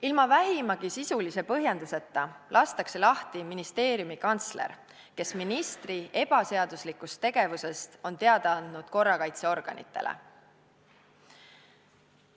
Ilma vähimagi sisulise põhjenduseta lastakse lahti ministeeriumi kantsler, kes on ministri ebaseaduslikust tegevusest teada andnud korrakaitseorganitele.